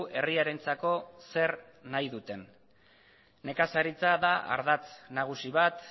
herriarentzako zer nahi duten nekazaritza da ardatz nagusi bat